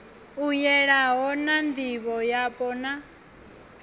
u yelanho na ndivhoyapo na